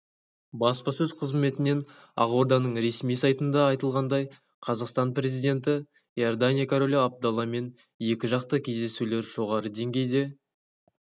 баспасөз қызметінен ақорданың ресми сайтында айтылғандай қазақстан президенті иордания королі абдалламен екіжақты кездесулер жоғары деңгейде